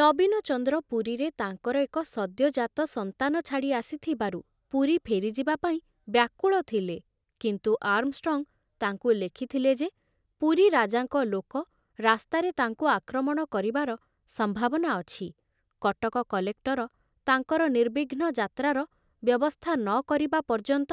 ନବୀନଚନ୍ଦ୍ର ପୁରୀରେ ତାଙ୍କର ଏକ ସଦ୍ୟଜାତ ସନ୍ତାନ ଛାଡ଼ି ଆସିଥିବାରୁ ପୁରୀ ଫେରିଯିବା ପାଇଁ ବ୍ୟାକୁଳ ଥିଲେ, କିନ୍ତୁ ଆର୍ମଷ୍ଟ୍ରଙ୍ଗ ତାଙ୍କୁ ଲେଖିଥିଲେ ଯେ ପୁରୀ ରାଜାଙ୍କ ଲୋକ ରାସ୍ତାରେ ତାଙ୍କୁ ଆକ୍ରମଣ କରିବାର ସମ୍ଭାବନା ଅଛି; କଟକ କଲେକ୍ଟର ତାଙ୍କର ନିର୍ବିଘ୍ନ ଯାତ୍ରାର ବ୍ୟବସ୍ଥା ନ କରିବା ପର୍ଯ୍ୟନ୍ତ